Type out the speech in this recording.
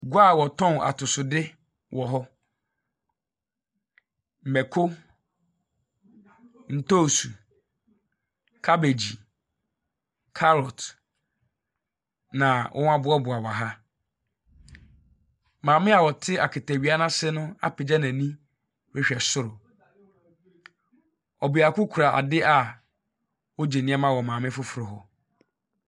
Dwa a wɔtɔn atosodeɛ wɔ hɔ; mako, ntoosi, kabegyi, carrot na wɔaboaboa wɔ ha. Maame a ɔte akatawia no ase no apagya n'ani rehwɛ soro. Ɔbeako kura ade a ɔregye nneɛma wɔ maame foforo hɔ.